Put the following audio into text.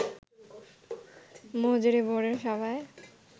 মজুরি বোর্ডের সভায়